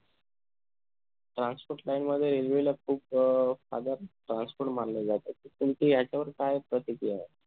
transport line मध्ये railway ला खूप father of transport मानलं जात तर तुमची याच्यावर काय प्रतिकिया ए